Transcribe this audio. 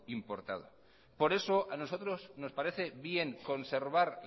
importado por eso a nosotros nos parece bien conservar